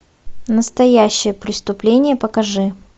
настоящее преступление покажи